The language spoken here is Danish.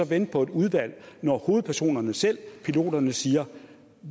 vente på et udvalg når hovedpersonerne selv piloterne siger